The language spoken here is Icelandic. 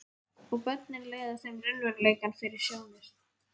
Og börnin leiða þeim raunveruleikann fyrir sjónir.